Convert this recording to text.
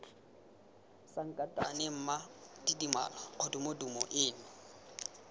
sankatane mma tidimalo kgodumodumo eno